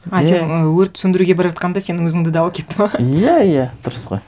а сен өрт сөндіруге бара жатқанда сенің өзіңді де алып кетті ме иә иә дұрыс қой